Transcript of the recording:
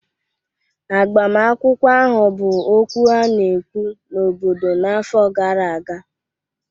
Agbamakwụkwọ ahụ bụ okwu a na-ekwu n'obodo n'afọ gara aga